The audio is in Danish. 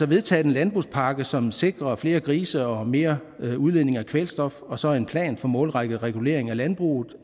vedtaget en landbrugspakke som sikrer flere grise og mere udledning af kvælstof og så en plan for målrettet regulering af landbruget